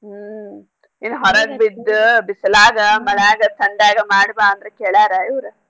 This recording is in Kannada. ಹ್ಮ್ ಇನ್ನ್ ಹೊರಗ್ ಬಿದ್ದ್ ಬಿಸ್ಲಾಗ ಮಳ್ಯಾಗ ತಂಡ್ಯಾಗ ಮಾಡ್ ಬಾ ಅಂದ್ರ ಕೇಳ್ಯಾರ ಇವ್ರ್.